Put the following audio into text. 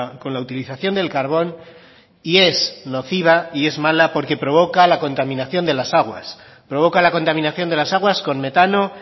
con la utilización del carbón y es nociva y es mala porque provoca la contaminación de las aguas provoca la contaminación de las aguas con metano